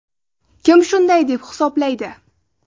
Kim shunday deb hisoblaydi?